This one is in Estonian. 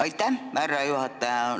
Aitäh, härra juhataja!